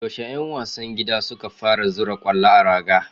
Yaushe 'yan wasan gida suka fara zura kwallo a raga?